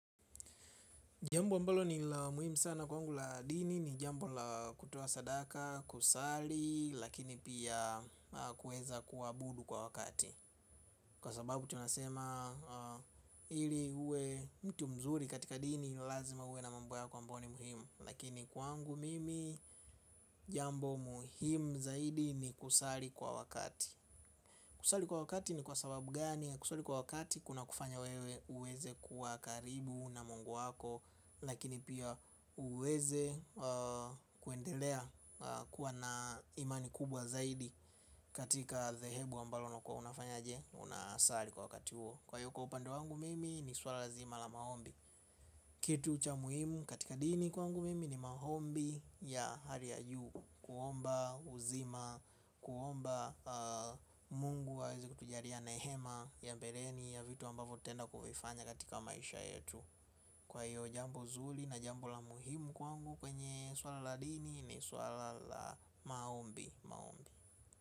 Jambo ambalo ni la muhimu sana kwangu la dini ni jambo la kutoa sadaka kusali lakini pia kueza kuabudu kwa wakati. Kwa sababu tunasema ili uwe mtu mzuri katika dini ni lazima uwe na mambo yako ambayo ni muhimu lakini kwangu mimi jambo muhimu zaidi ni kusali kwa wakati. Kusali kwa wakati ni kwa sababu gani ya kusali kwa wakati kuna kufanya wewe uweze kuwa karibu na mungu wako lakini pia uweze kuendelea kuwa na imani kubwa zaidi katika zehebu ambalo unakuwa unafanya je. Unasali kwa wakati huo kwa hiyo kwa upande wangu mimi ni swala lazima la maombi. Kitu cha muhimu katika dini kwa wangu mimi ni maombi ya hali ya juu. Kuomba uzima, kuomba mungu aweze kukijalia neema ya bereni ya vitu ambavyo tutenda kuvifanya katika maisha yetu. Kwa hiyo jambu zuri na jambo la muhimu kwangu kwenye swala la dini ni swala la maombi.